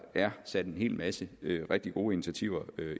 er sat en hel masse rigtig gode initiativer